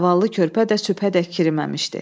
Zavallı körpə də şübhədə kirməmişdi.